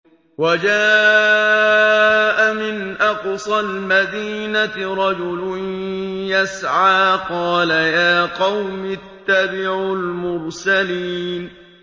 وَجَاءَ مِنْ أَقْصَى الْمَدِينَةِ رَجُلٌ يَسْعَىٰ قَالَ يَا قَوْمِ اتَّبِعُوا الْمُرْسَلِينَ